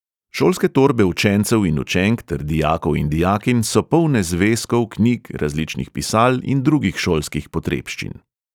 Šolske torbe učencev in učenk ter dijakov in dijakinj so polne zvezkov, knjig, različnih pisal in drugih šolskih potrebščin.